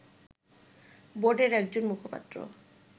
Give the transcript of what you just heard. বোর্ডের একজন মুখপাত্র